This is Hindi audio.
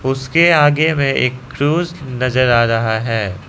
उसके आगे में एक क्रूस नजर आ रहा है।